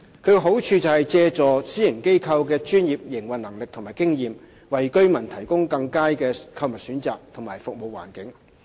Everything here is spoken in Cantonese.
其好處是借助私營機構的專業營運能力和經驗，為居民提供更佳的購物選擇和服務環境。